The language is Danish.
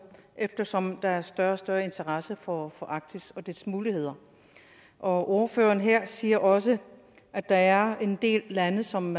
eftersom der er større og større interesse for arktis og dets muligheder og ordføreren siger også at der er en del lande som